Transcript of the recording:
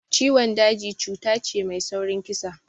Ciwon daji cuta ce mai saurin kisa